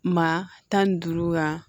Maa tan ni duuru wa